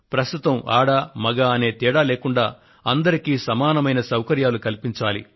ప్రస్తుతం ఆడ మగా అనే తేడా లేకుండా అందరికీ సమానమైన సౌకర్యాలను కల్పించాలి